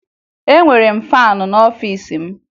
Ee, enwere m faanị n'ọfiisi m